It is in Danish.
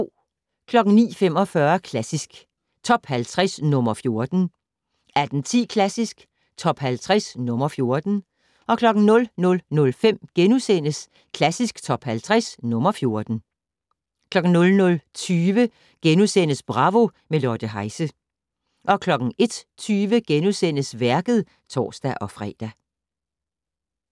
09:45: Klassisk Top 50 - nr. 14 18:10: Klassisk Top 50 - nr. 14 00:05: Klassisk Top 50 - nr. 14 * 00:20: Bravo - med Lotte Heise * 01:20: Værket *(tor-fre)